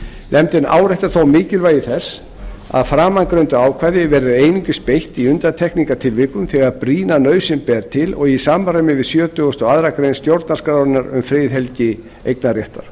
nefndin áréttar þó mikilvægi þess að framangreindu ákvæði verði einungis beitt í undantekningartilvikum þegar brýna nauðsyn ber til og í samræmi við sjötugasta og aðra grein stjórnarskrárinnar um friðhelgi eignarréttar